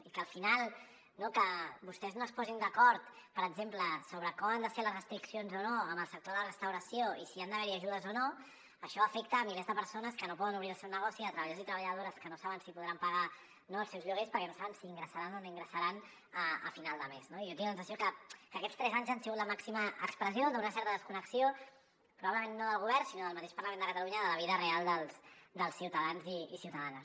i que al final no que vostès no es posin d’acord per exemple sobre com han de ser les restriccions o no en el sector de la restauració i si han d’haver hi ajudes o no això afecta milers de persones que no poden obrir el seu negoci treballadors i treballadores que no saben si podran pagar els seus lloguers perquè no saben si ingressaran o no ingressaran a final de mes no jo tinc la sensació que aquests tres anys han sigut la màxima expressió d’una certa desconnexió probablement no del govern sinó del mateix parlament de catalunya de la vida real dels ciutadans i ciutadanes